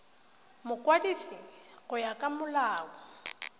mokwadisi go ya ka molao